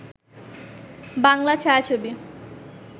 Bangla ছায়াছবি